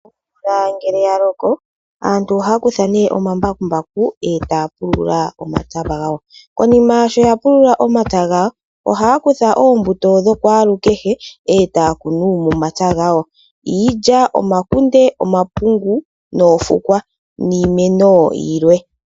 Omvula ngele yaloko aantu ohaya kutha oombakumbaku etaya pulula omapya gawo. Konima shoya pulula omapya gawo ohaya kutha oombuto dhakwaalukehe etaya kunu momapya gawo iilya, omakunde, omapungu noofukwa niimeno yilwe.